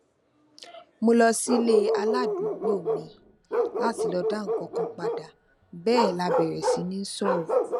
mo lọ sílé aládùúgbò mi láti lọ dá nǹkan padà bẹẹ la bẹrẹ si ni sọrọ